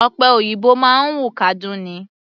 Ọ̀pẹ òyìnbó máa ń wù kádún ni.